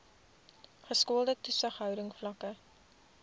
geskoolde toesighouding vlakke